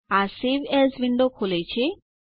આ save as window ખોલે છે